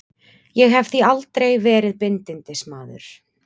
Ég hef því miður aldrei verið bindindismaður.